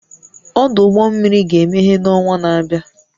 Ọdụ ụgbọ mmiri ga-emeghe n'ọnwa na-abịa